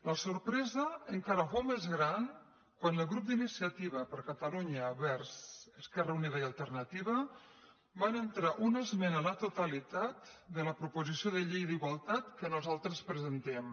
la sorpresa encara fou més gran quan el grup d’inici·ativa per catalunya verds · esquerra unida i alterna·tiva va entrar una esmena a la totalitat de la proposició de llei d’igualtat que nosaltres presentem